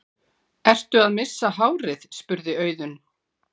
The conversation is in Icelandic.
Ertu að missa hárið? spurði Auðunn.